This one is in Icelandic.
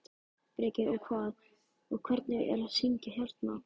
Breki: Og hvað, og hvernig er að syngja hérna?